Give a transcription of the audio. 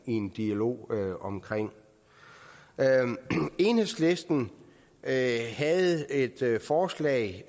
en dialog omkring enhedslisten havde havde et forslag